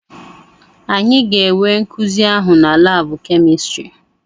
Anyị ga-enwe nkuzi ahụ na laabụ kemịstrị.